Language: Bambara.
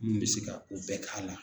Mun be se ka ku bɛɛ ta la.